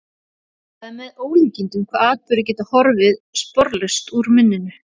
Það er með ólíkindum hvað atburðir geta horfið sporlaust úr minninu.